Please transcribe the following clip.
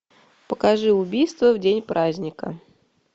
покажи убийство в день праздника